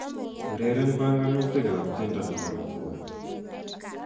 Ureren banganutikab tiendo nebo Kapuka